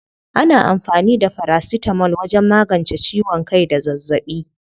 Ana amfani da farasitamol wajen magance ciwon kai da zazzaɓi.